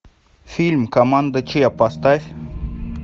фильм команда ч поставь